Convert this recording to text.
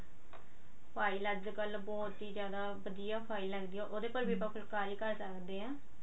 file ਅੱਜਕਲ ਬਹੁਤ ਹੀ ਜਿਆਦਾ ਵਧੀਆ file ਲੱਗਦੀ ਉਹਦੇ ਪਰ ਵੀ ਆਪਾਂ ਫੁਲਕਾਰੀ ਕਰ ਸਕਦੇ ਹਾਂ